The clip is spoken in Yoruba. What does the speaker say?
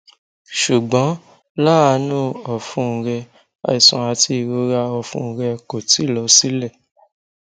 ṣugbọn laanu ọfun rẹ aiṣan ati irora ọfun rẹ ko ti lọ silẹ